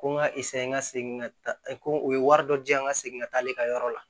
Ko n ka n ka segin ka taa ko u ye wari dɔ di yan n ka segin ka taa ale ka yɔrɔ la